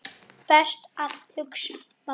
Best að hugsa málið.